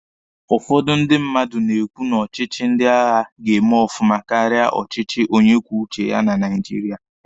Ụfọdụ ndị mmadụ na-ekwu na ọchịchị ndị agha ga-eme ọfụma karịa ọchịchị onye kwuo uche ya na Naijiria.